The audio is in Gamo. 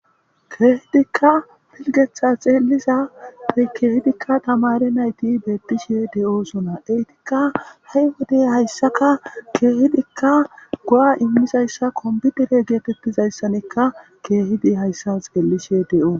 Kehidika piligetha xeliza asati kehidika tamare nayti de'osona etika he wode haysaka go'a imizaysa kompitere getetizasanika kehidika haysa xelishe de'os